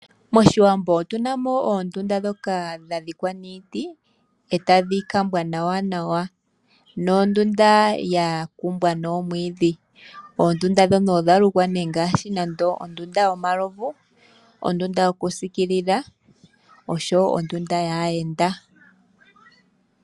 Moshiwambo otunamo oondunda ndhoka dha dhikwa niiti etadhi kambwa nawa, nondunda yakumbwa noomwiidhi . Oondunda ndhono odha lukwa nee ngaashi ondunda yomalovu ,ondunda yoku pungula oshowo ondunda yaayenda.